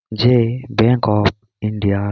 যে bank of India.